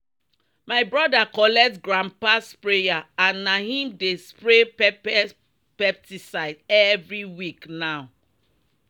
"my brother collect grandpa sprayer and na him dey spray pepper pesticide every week now."